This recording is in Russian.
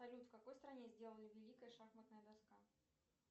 салют в какой стране сделали великая шахматная доска